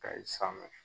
Kayi sanfɛ